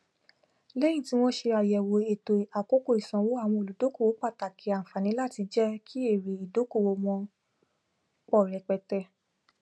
lẹyìn tí wọn ṣe àyẹwò ètò àkókò ìsanwó àwọn olùdókòwò pàtàkì ànfààní láti jẹ kí èrè ìdókòwò wọn pọ rẹpẹtẹ